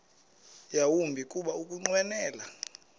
yawumbi kuba ukunqwenela